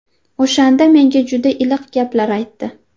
O‘shanda menga juda iliq gaplar aytdi.